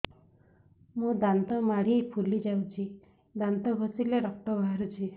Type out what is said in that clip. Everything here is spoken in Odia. ମୋ ଦାନ୍ତ ମାଢି ଫୁଲି ଯାଉଛି ଦାନ୍ତ ଘଷିଲେ ରକ୍ତ ବାହାରୁଛି